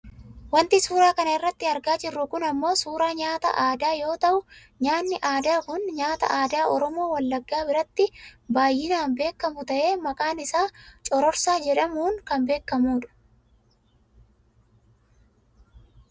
Wanti suuraa kana irratti argaa jirru kun ammoo suuraa nyaata aadaa yoo ta'u nyaanni aadaa kun nyaata aadaa oromoo wallaggaa biratti baayyinaan beekkamu ta'ee maqaan isaa cororsaa jedhamuun kan beekkamudha .